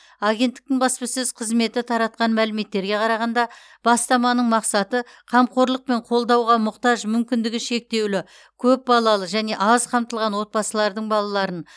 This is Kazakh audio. агенттіктің баспасөз қызметі таратқан мәліметтерге қарағанда бастаманың мақсаты қамқорлық пен қолдауға мұқтаж мүмкіндігі шектеулі көпбалалы және аз қамтылған отбасылардың балаларын